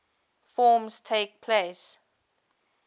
forms takes place